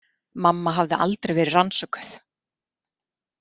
Mamma hafði aldrei verið rannsökuð.